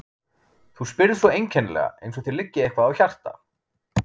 Þú spyrð svo einkennilega, eins og þér liggi eitthvað á hjarta.